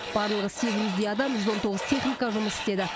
барлығы сегіз жүздей адам жүз он тоғыз техника жұмыс істеді